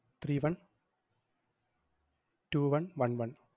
three one two one one one